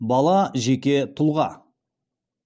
бала жеке тұлға